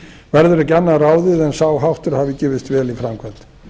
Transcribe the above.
verður ekki annað ráðið en sá háttur hafi gefist vel í framkvæmd